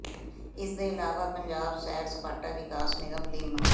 ਇਸ ਦੇ ਇਲਾਵਾ ਪੰਜਾਬ ਸੈਰ ਸਪਾਟਾ ਵਿਕਾਸ ਨਿਗਮ ਲਿਮ